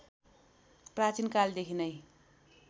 प्राचीन कालदेखि नै